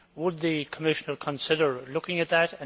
Would the Commissioner consider looking at that?